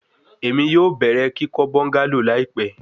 Emi yoo bẹrẹ kikọ bungalow laipẹ